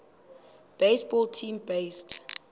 baseball team based